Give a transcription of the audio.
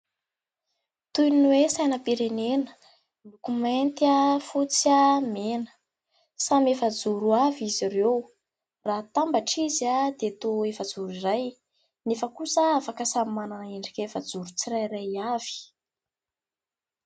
Toy ny hoe : sainam-pirenena miloko mainty, fotsy , mena, samy efajoro avy izy ireo ; raha hatambatra izy dia toa efajoro iray, nefa kosa afaka samy manana endrika efajoro tsirairay avy.